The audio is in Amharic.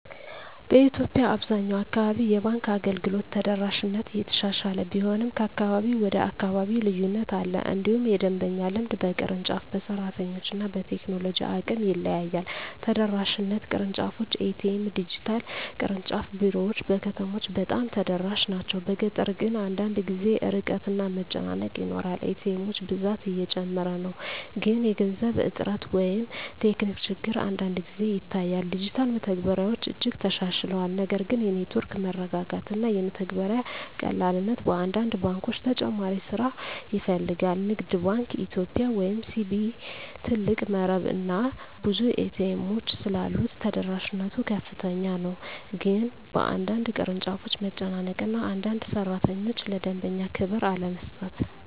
በኢትዮጵያ አብዛኛው አካባቢ የባንክ አገልግሎት ተደራሽነት እየተሻሻለ ቢሆንም ከአካባቢ ወደ አካባቢ ልዩነት አለ። እንዲሁም የደንበኛ ልምድ በቅርንጫፍ፣ በሰራተኞች እና በቴክኖሎጂ አቅም ይለያያል። ተደራሽነት (ቅርንጫፎች፣ ኤ.ቲ.ኤም፣ ዲጂታል) ቅርንጫፍ ቢሮዎች በከተሞች በጣም ተደራሽ ናቸው፤ በገጠር ግን አንዳንድ ጊዜ ርቀት እና መጨናነቅ ይኖራል። ኤ.ቲ. ኤሞች ብዛት እየጨመረ ነው፣ ግን የገንዘብ እጥረት ወይም ቴክኒክ ችግር አንዳንድ ጊዜ ይታያል። ዲጂታል መተግበሪያዎች እጅግ ተሻሽለዋል፣ ነገር ግን የኔትወርክ መረጋጋት እና የመተግበሪያ ቀላልነት በአንዳንድ ባንኮች ተጨማሪ ስራ ይፈልጋል። ንግድ ባንክ ኢትዮጵያ (CBE) ትልቅ መረብ እና ብዙ ኤ.ቲ. ኤሞች ስላሉት ተደራሽነት ከፍተኛ ነው፤ ግን በአንዳንድ ቅርንጫፎች መጨናነቅ እና አንዳንድ ሠራተኞች ለደንበኛ ክብር አለመስጠት